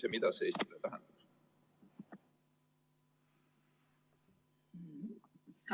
Ja mida see Eestile tähendab?